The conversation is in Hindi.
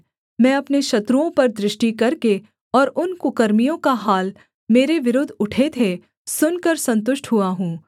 मैं अपने शत्रुओं पर दृष्टि करके और उन कुकर्मियों का हाल मेरे विरुद्ध उठे थे सुनकर सन्तुष्ट हुआ हूँ